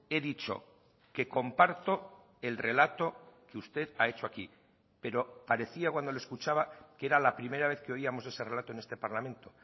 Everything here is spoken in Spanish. he dicho que comparto el relato que usted ha hecho aquí pero parecía cuando le escuchaba que era la primera vez que oíamos ese relato en este parlamento